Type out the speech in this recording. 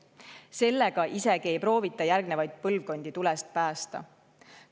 Sellega isegi ei proovita järgnevaid põlvkondi tulest päästa.